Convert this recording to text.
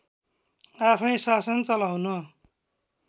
आफै शासन चलाउन